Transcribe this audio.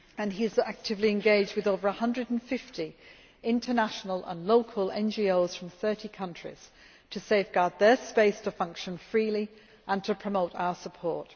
He is actively engaged with over 150 international and local NGOs from 30 countries to safeguard their space to function freely and to promote our support.